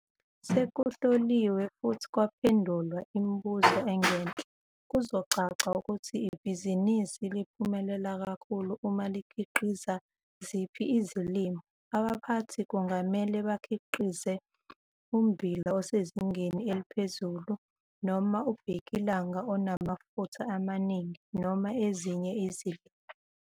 Sekuhloliwe futhi kwaphendulwa imibuzo engenhla, kuzocaca ukuthi ibhizinisi liphumelela kakhulu uma likhiqiza ziphi izilimo. Abaphathi kungamele bakhiqize ummbila osezingeni eliphezuluu noma ubhekilanga onamafutha amaningi, noma ezinye izilimo.